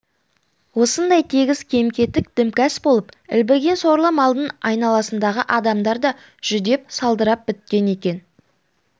осындай тегіс кем-кетік дімкәс болып ілбіген сорлы малдың айналасындағы адамдар да жүдеп салдырап біткен екен